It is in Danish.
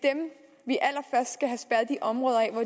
er de områder